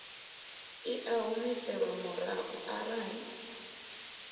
i a humiselwa murahu arali